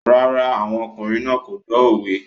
No, the men are not listening to the proverbs